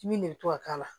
Dimi de bɛ to ka k'a la